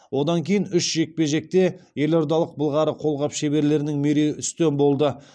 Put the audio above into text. одан кейін үш жекпе жекте елордалық былғары қолғап шеберлерінің мерей үстем болды